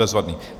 Bezvadné.